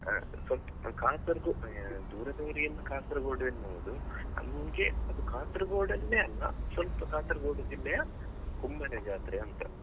ಹಾ Kasar~ ದೂರದವ್ರಿಗೆ ಎಲ್ಲ Kasaragod ಎನ್ಬಹುದು ನಮಿಗೆ ಅದು Kasaragod ಅಲ್ಲೇ ಅಲ್ಲ ಸ್ವಲ್ಪ Kasaragod ಜಿಲ್ಲೆಯ Kumble ಜಾತ್ರೆ ಅಂತಾ.